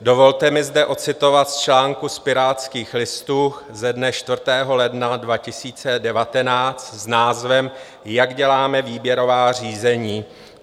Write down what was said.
Dovolte mi zde odcitovat z článku z Pirátských listů ze dne 4. ledna 2019 s názvem Jak děláme výběrová řízení?